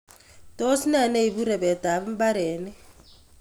Tos nee neipu repetap mparenik